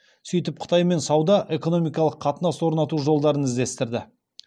сөйтіп қытаймен сауда экономикалық қатынас орнату жолдарын іздестірді